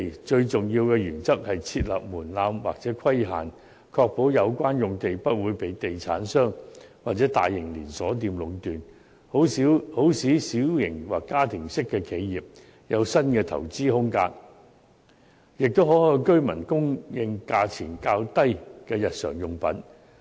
最重要的原則是設立門檻或規限，確保有關用地不會被地產商或大型連鎖店壟斷，好使小型或家庭式的企業有新的投資空間，亦可向居民供應價錢較低的日常用品。